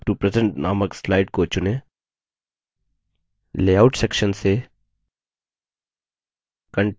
layout section से content over content title को चुनें